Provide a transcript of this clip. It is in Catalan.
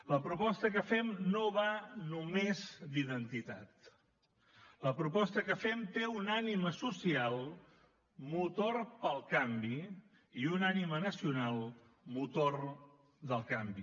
la proposta que fem no va només d’identitat la proposta que fem té una ànima social motor pel canvi i una ànima nacional motor del canvi